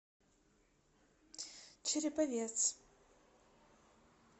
череповец